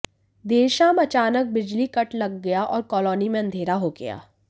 देर शाम अचानक बिजली कट लग गया और कालोनी में अंधेरा हो गया